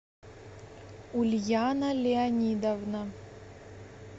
ульяна леонидовна